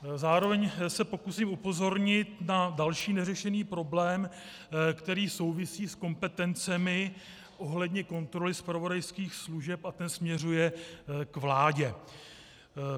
Zároveň se pokusím upozornit na další neřešený problém, který souvisí s kompetencemi ohledně kontroly zpravodajských služeb, a ten směřuje k vládě.